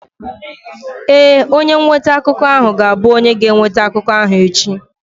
Ee, onye nweta akụkọ ahụ ga-abụ onye ga-eweta akụkọ ahụ echi.